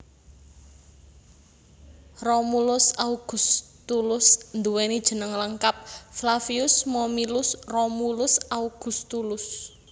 Romulus Augustulus nduweni jeneng lengkap Flavius Momyllus Romulus Augustulus